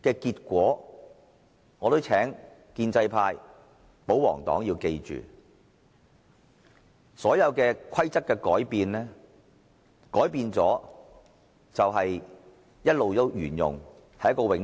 建制派、保皇黨議員必須明白，規則改變後，便會一直沿用下去。